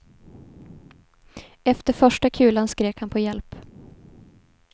Efter första kulan skrek han på hjälp.